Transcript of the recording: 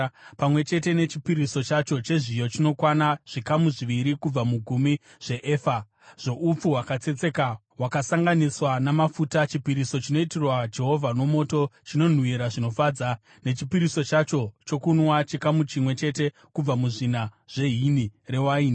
pamwe chete nechipiriso chacho chezviyo chinokwana zvikamu zviviri kubva mugumi zveefa , zvoupfu hwakatsetseka hwakasanganiswa namafuta, chipiriso chinoitirwa Jehovha nomoto, chinonhuhwira zvinofadza, nechipiriso chacho chokunwa chikamu chimwe chete kubva muzvina zvehini rewaini.